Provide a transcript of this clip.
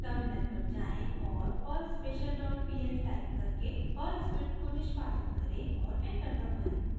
terminal पर जाएँ और perl special dot pl type करके पर्ल स्क्रिप्ट को निष्पादित करें और एंटर दबाएं